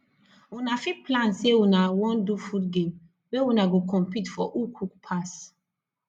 una fit plan sey una wan do food game wey una go compete for who cook pass